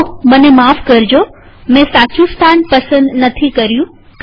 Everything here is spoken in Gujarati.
હું માફી ચાહું છું કે મેં સાચું સ્થાન પસંદ ન કર્યું